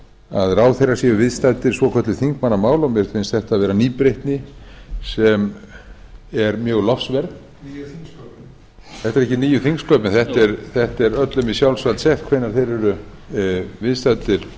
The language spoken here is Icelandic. að ráðherrar séu viðstaddir svokölluð þingmannamál og mér finnst þetta vera nýbreytni sem er mjög lofsverð nýju þingsköpin þetta eru ekki nýju þingsköpin þetta er öllum í sjálfsvald sett hvenær þeir eru viðstaddir